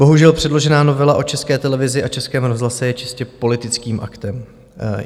Bohužel předložená novela o České televizi a Českém rozhlase je čistě politickým aktem.